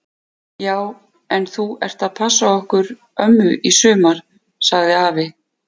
Já en þú ert að passa okkur ömmu í sumar! sagði afi.